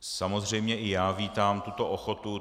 Samozřejmě i já vítám tuto ochotu.